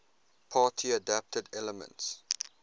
party adapted elements